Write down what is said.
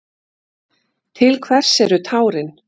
Til hvers eru tárin?